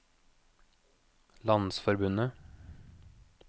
landsforbundet